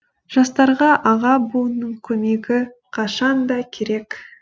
жастарға аға буынның көмегі қашан да керек